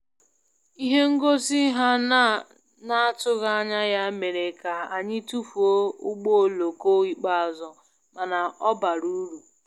Ihe ngosi ha na-atụghị anya ya mere ka anyị tụfuo ụgbọ oloko ikpeazụ, mana ọ bara uru